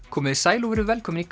komiði sæl og verið velkomin í